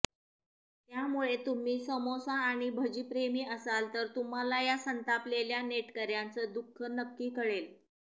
त्यामुळे तुम्ही समोसा आणि भजी प्रेमी असाल तर तुम्हाला यां संतापलेल्या नेटकऱ्यांचं दुःख नक्की कळेल